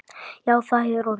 Já, það hefur orðið.